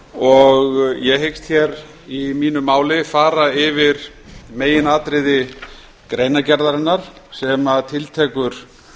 og ég hyggst í mínu máli fara yfir meginatriði greinargerðarinnar sem tiltekur